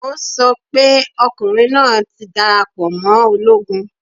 O sọ pé ọkùnrin náà ti darapọ̀ mọ́ ológun